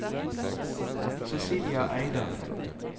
Cecilia Eide